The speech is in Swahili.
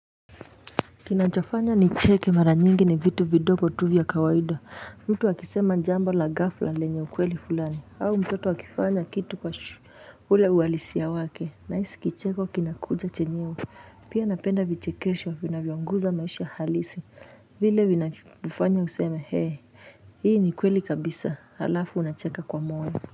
Kinachofanya nicheke mara nyingi ni vitu vidogo tu vya kawaida mtu akisema jambo la ghafla lenye ukweli fulani au mtoto akifanya kitu kwa ule uhalisia wake na hisi kicheko kinakuja chenyewe pia napenda vichekesho vinavyonguza maisha halisi vile vinavyofanya useme hee hii ni kweli kabisa halafu unacheka kwa moyo.